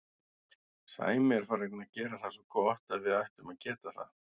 Sæmi er farinn að gera það svo gott að við ættum að geta það.